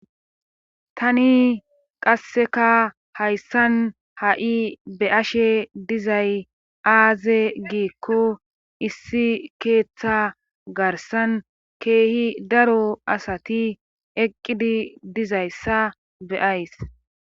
tani qasseka hayssan ha7i be ashe dizay aaze giikko issi keeththa garsan keehi daro asati eqqidi dizayssa beyays